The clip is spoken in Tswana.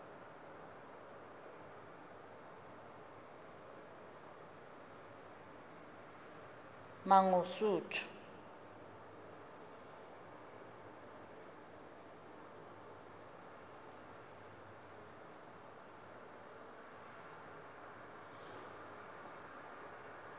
mangosuthu